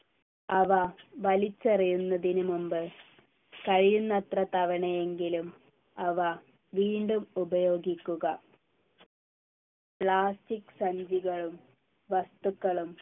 അവ വലിച്ചെറിയുന്നതിന് മുമ്പ് കഴിയുന്നത്ര തവണയെങ്കിലും അവ വീണ്ടും ഉപയോഗിക്കുക plastic സഞ്ചികളും വസ്തുക്കളും